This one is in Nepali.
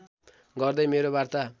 गर्दै मेरो वार्ता